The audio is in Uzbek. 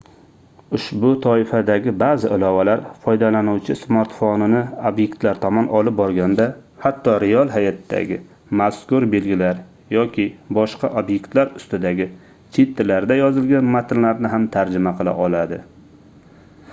ushbu toifadagi baʼzi ilovalar foydalanuvchi smartfonini obyektlar tomon olib borganda hatto real hayotdagi mazkur belgilar yoki boshqa obyektlar ustidagi chet tillarida yozilgan matnlarni ham tarjima qila oladi